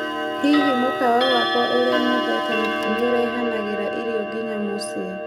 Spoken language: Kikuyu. Hihi mũkawa wakwa ũrĩa nyendete nĩ ũrehanagĩra irio nginya mũcĩĩ